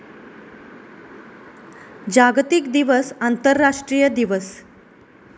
जागतिक दिवस आंतरराष्ट्रीय दिवस.